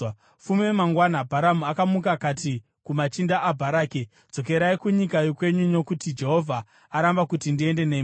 Fume mangwana, Bharamu akamuka akati kumachinda aBharaki, “Dzokerai kunyika yokwenyu, nokuti Jehovha aramba kuti ndiende nemi.”